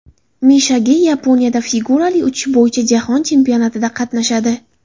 Misha Ge Yaponiyada figurali uchish bo‘yicha jahon chempionatida qatnashadi.